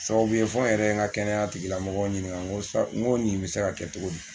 Sababu ye fo n yɛrɛ n ka kɛnɛya tigilamɔgɔw ɲininka n ko nin bɛ se ka kɛ cogo min